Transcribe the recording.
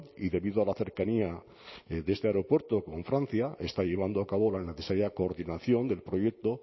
y debido a la cercanía de este aeropuerto con francia está llevando a cabo la necesaria coordinación del proyecto